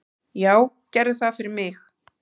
"""Já, gerðu það fyrir mig!"""